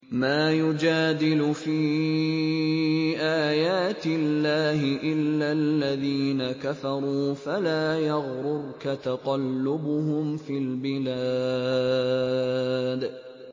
مَا يُجَادِلُ فِي آيَاتِ اللَّهِ إِلَّا الَّذِينَ كَفَرُوا فَلَا يَغْرُرْكَ تَقَلُّبُهُمْ فِي الْبِلَادِ